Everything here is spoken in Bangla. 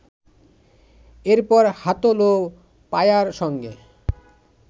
এরপর হাতল ও পায়ার সঙ্গে